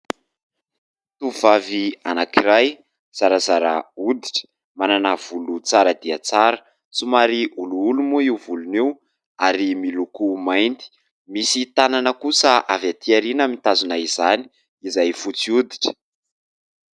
Tovovavy anankiray zarazara hoditra manana volo tsara dia tsara somary olioly moa io volony io ary miloko mainty. Misy tanana kosa avy atỳ aoriana mitazona izany izay fotsy hoditra.